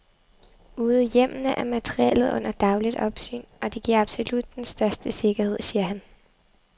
Ude i hjemmene er materiellet under dagligt opsyn, og det giver absolut den største sikkerhed, siger han.